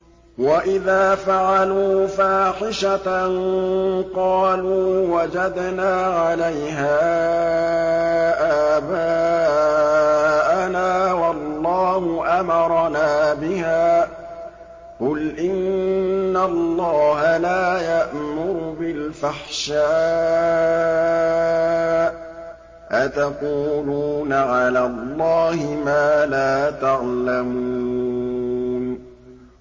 وَإِذَا فَعَلُوا فَاحِشَةً قَالُوا وَجَدْنَا عَلَيْهَا آبَاءَنَا وَاللَّهُ أَمَرَنَا بِهَا ۗ قُلْ إِنَّ اللَّهَ لَا يَأْمُرُ بِالْفَحْشَاءِ ۖ أَتَقُولُونَ عَلَى اللَّهِ مَا لَا تَعْلَمُونَ